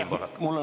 Palun, Siim Pohlak!